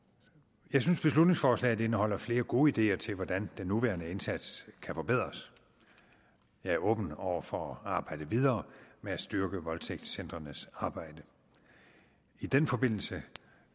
jeg synes at beslutningsforslaget indeholder flere gode ideer til hvordan den nuværende indsats kan forbedres jeg er åben over for at arbejde videre med at styrke voldtægtscentrenes arbejde i den forbindelse